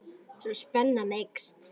Svo spennan eykst.